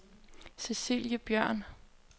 Cecilie Bjørn